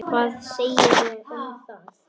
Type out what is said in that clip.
Hvað segirðu um það?